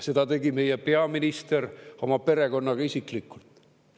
Seda tegi meie peaminister oma perekonnaga isiklikult.